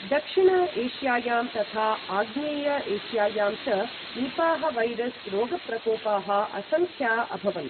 दक्षिण एश्यायां तथा आग्नेय एशियायां च निपाः वैरस् रोगप्रकोपाः असङ्ख्या अभवन्।